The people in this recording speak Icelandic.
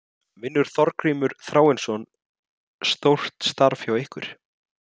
Vinnur Þorgrímur Þráinsson stórt starf hjá ykkur??